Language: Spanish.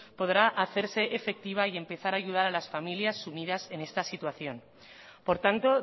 podrá hacerse efectiva y empezar a ayudar a las familias sumidas en esta situación por tanto